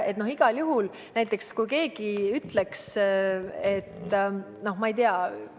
Näiteks kui keegi ütleks, et noh, ma ei tea ...